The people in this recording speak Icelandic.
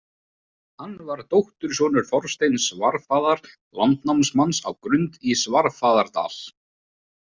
Hann var dóttursonur Þorsteins svarfaðar landnámsmanns á Grund í Svarfaðardal.